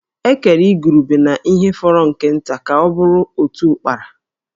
E kere igurube na ihe fọrọ nke nta ka ọ bụrụ otu Ụ́kpárá